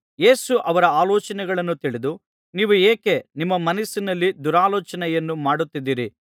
ಯೇಸು ಅವರ ಆಲೋಚನೆಗಳನ್ನು ತಿಳಿದು ನೀವು ಏಕೆ ನಿಮ್ಮ ಮನಸ್ಸಿನಲ್ಲಿ ದುರಾಲೋಚನೆಯನ್ನು ಮಾಡುತ್ತಿದ್ದೀರಿ